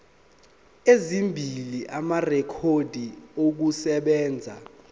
ezimbili amarekhodi okusebenza